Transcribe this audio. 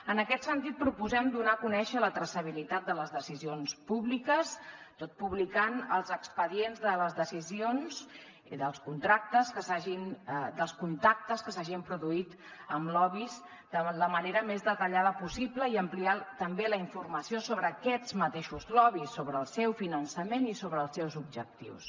en aquest sentit proposem donar a conèixer la traçabilitat de les decisions públiques tot publicant els expedients de les decisions i dels contactes que s’hagin produït amb lobbys de la manera més detallada possible i ampliant també la informació sobre aquests lobbys mateixos sobre el seu finançament i sobre els seus objectius